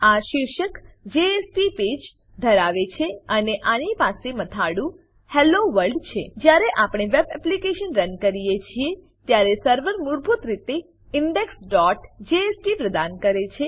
આ શીર્ષક JSP page JSP પુષ્ઠ ધરાવે છે અને આની પાસે મથાળું હેલ્લો વર્લ્ડ છે જ્યારે આપણે વેબ એપ્લીકેશન રન કરીએ છીએ ત્યારે સર્વર મૂળભૂત રીતે indexજેએસપી પ્રદાન કરે છે